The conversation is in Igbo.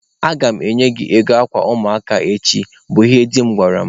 "Aga m enye gị ego akwa ụmụaka echi", bụ ihe di m gwara mụ.